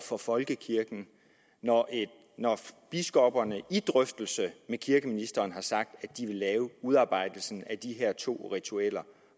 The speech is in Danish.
for folkekirken når biskopperne i drøftelse med kirkeministeren har sagt at de vil udarbejde de her to ritualer